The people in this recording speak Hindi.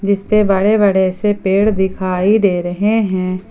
जिसपे बड़े बड़े से पेड़ दिखाई दे रहे हैं।